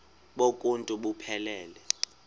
bonk uuntu buphelele